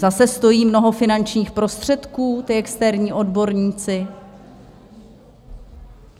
Zase stojí mnoho finančních prostředků, ti externí odborníci.